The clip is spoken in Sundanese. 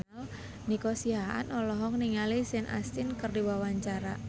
Nico Siahaan olohok ningali Sean Astin keur diwawancara